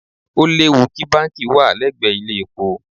Ó léwu kí báǹkì wà lẹ́gbẹ̀ẹ́ ilé-epo.